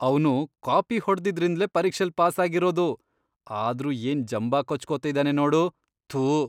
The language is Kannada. ಅವ್ನು ಕಾಪಿ ಹೊಡ್ದಿದ್ರಿಂದ್ಲೇ ಪರೀಕ್ಷೆಲ್ ಪಾಸಾಗಿರೋದು, ಆದ್ರೂ ಏನ್ ಜಂಬ ಕೊಚ್ಕೊತಿದಾನೆ ನೋಡು..ಥು.